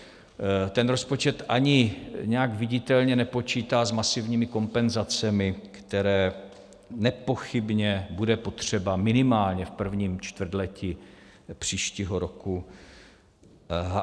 Ten rozpočet ani nijak viditelně nepočítá s masivními kompenzacemi, které nepochybně budou potřeba minimálně v prvním čtvrtletí příštího roku.